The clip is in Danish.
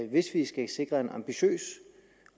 hvis vi skal sikre en ambitiøs